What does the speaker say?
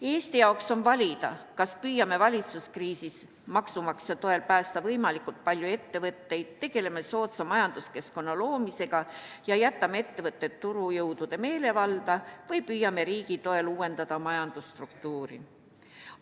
Eesti jaoks on valida, kas püüame viiruskriisis maksumaksja toel päästa võimalikult palju ettevõtteid, tegeleme soodsa majanduskeskkonna loomisega ja jätame ettevõtted turujõudude meelevalda või püüame riigi toel uuendada majandusstruktuuri.